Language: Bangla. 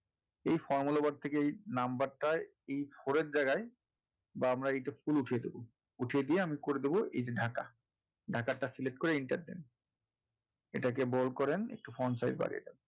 এই formula bar থেকে এই number টায় এই four এর জায়গায় বা আমরা এইটা full উঠিয়ে দেবো উঠিয়ে দিয়ে আমরা করে দেবো এইযে ঢাকা, ঢাকা টা select করে enter দেন এটাকে বড় করেন একটু size বাড়িয়ে দেন।